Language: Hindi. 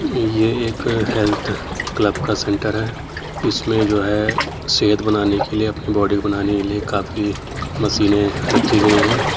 ये एक अ हेल्थ क्लब का सेंटर है। इसमें जो है सेहत बनाने के लिए अपनी बॉडी बनाने के लिए काफी मशीने रखी गयी हैं।